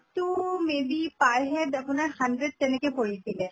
তো may be per head আপোনাৰ hundred ten কে পৰিছিলে